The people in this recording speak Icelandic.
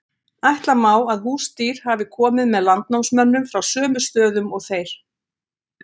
Ætla má að húsdýr hafi komið með landnámsmönnum frá sömu stöðum og þeir.